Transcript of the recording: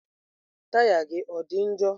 Taya gị ọ dị njọ?